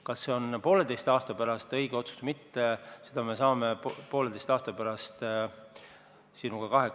Kas see tundub poolteise aasta pärast õige otsus või mitte, seda me saame poolteise aasta pärast sinuga teada.